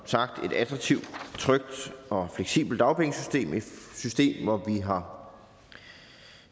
sagt et attraktivt trygt og fleksibelt dagpengesystem et system hvor vi har